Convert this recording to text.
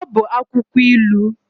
Ọ bụ akwụkwọ ilu.